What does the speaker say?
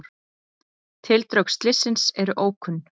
Tildrög slyssins eru ókunn.